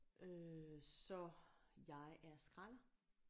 Øh så jeg er skralder